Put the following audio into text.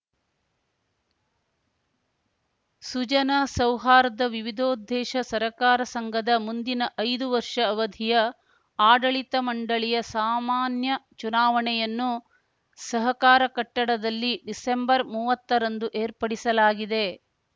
ಸುಜನ ಸೌಹಾರ್ದ ವಿವಿಧೋದ್ದೇಶ ಸಹಕಾರ ಸಂಘದ ಮುಂದಿನ ಐದು ವರ್ಷ ಅವಧಿಯ ಆಡಳಿತ ಮಂಡಳಿಯ ಸಾಮಾನ್ಯ ಚುನಾವಣೆಯನ್ನು ಸಹಕಾರ ಕಟ್ಟಡದಲ್ಲಿ ಡಿಸೆಂಬರ್ಮುವತ್ತರಂದು ಏರ್ಪಡಿಸಲಾಗಿದೆ